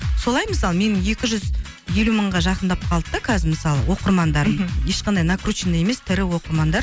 солай мысалы менің екі жүз елу мыңға жақындап қалды да қазір мысалы оқырмандарым мхм ешқандай накрученный емес тірі оқырмандар